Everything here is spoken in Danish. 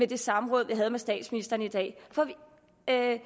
det samråd vi havde med statsministeren i dag for i at